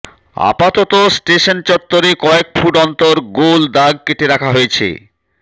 আপাতত স্টেশন চত্বরে কয়েক ফুট অন্তর গোল দাগ কেটে রাখা হয়েছে